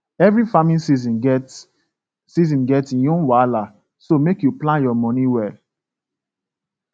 every farming season get season get im own wahala so make you plan your money well